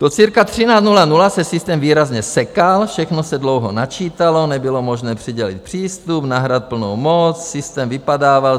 Do cirka 13.00 se systém výrazně sekal, všechno se dlouho načítalo, nebylo možné přidělit přístup, nahrát plnou moc, systém vypadával.